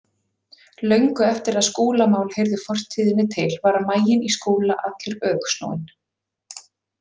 Löngu eftir að Skúlamál heyrðu fortíðinni til var maginn í Skúla allur öfugsnúinn.